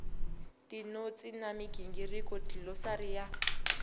tinotsi na migingiriko dlilosari ya